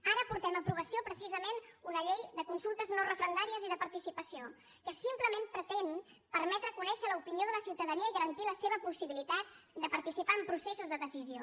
ara portem a aprovació precisament una llei de consultes no referendàries i de participació que simplement pretén permetre conèixer l’opinió de la ciutadania i garantir la seva possibilitat de participar en processos de decisió